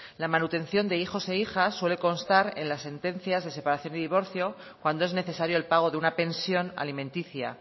la manutención de hijos e hijas suele constar en las sentencias de separación y divorcio cuando es necesario el pago de una pensión alimenticia